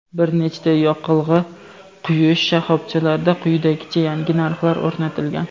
bir nechta yoqilg‘i quyish shoxobchalarida quyidagicha yangi narxlar o‘rnatilgan:.